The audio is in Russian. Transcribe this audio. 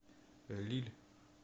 лилль